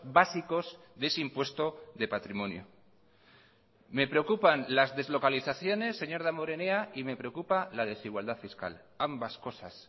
básicos de ese impuesto de patrimonio me preocupan las deslocalizaciones señor damborenea y me preocupa la desigualdad fiscal ambas cosas